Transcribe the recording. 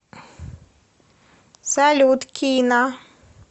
салют кина